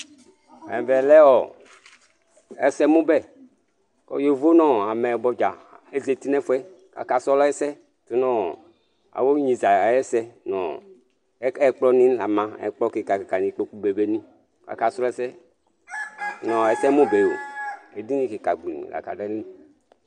Ɛvɛ lɛ ɛsɛmʊbɛ Kʊ yovo namɛyɩbɔ dza zatɩ nɛfʊɛ, aka srɔ ɛsɛ tʊnʊ awʊɩ ɣneza ayɛsɛ Ɛkplɔnɩ la ma Ɛkplɔ kɩka ƙɩka nʊ ɩkpokʊ nɩ, aka srɔ ɛsɛ nɛsɛmʊbɛo Edɩnɩ kika gblɩm la adʊ aƴɩlɩ